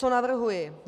Co navrhuji.